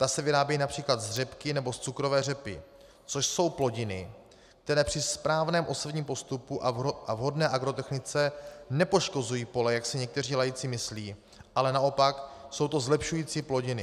Ta se vyrábějí například z řepky nebo z cukrové řepy, což jsou plodiny, které při správném osevním postupu a vhodné agrotechnice nepoškozují pole, jak si někteří laici myslí, ale naopak, jsou to zlepšující plodiny.